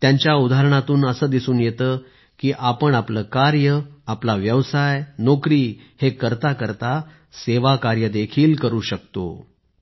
त्यांच्या उदाहरणातून असं दिसून येतं की आपण आपलं कार्य आपला व्यवसाय नोकरी करता करता सेवाकार्य देखील करू शकतो